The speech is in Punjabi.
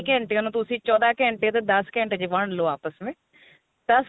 ਘੰਟਿਆ ਨੂੰ ਤੁਸੀਂ ਚੋਦਾ ਘੰਟੇ ਤੇ ਦੱਸ ਘੰਟੇ ਨੂੰ ਵੰਡ ਲਓ ਆਪਸ ਜਿਵੇਂ